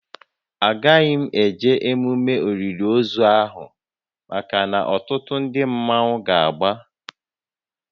A gaghị m eje emume olili ozu ahụ maka na ọtụtụ ndị mmọnwu ga-agba